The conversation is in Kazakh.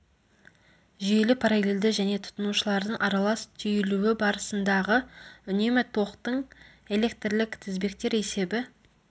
жүйелі параллельді және тұтынушылардың аралас түйілуі барысындағы үнемі токтың электрлік тізбектер есебі